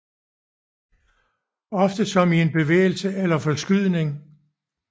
Ofte som i en bevægelse eller forskydning